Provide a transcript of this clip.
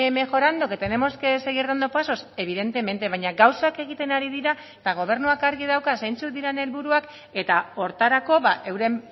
mejorando que tenemos que seguir dando pasos evidentemente baina gauzak egiten ari dira eta gobernuak argi dauka zeintzuk diren helburuak eta horretarako euren